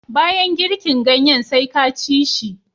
Banyan girkin ganyen sai ka ci shi